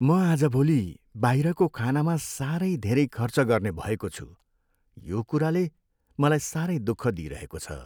म आजभोलि बाहिरको खानामा साह्रै धेरै खर्च गर्ने भएको छु। यो कुराले मलाई साह्रै दुःख दिइरहेको छ।